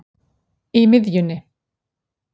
í miðjunni